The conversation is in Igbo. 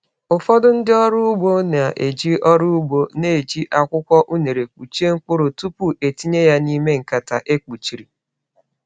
Ụfọdụ ndị ọrụ ugbo na-eji ọrụ ugbo na-eji akwụkwọ unere kpuchie mkpụrụ tupu etinye ya n’ime nkata e kpuchiri.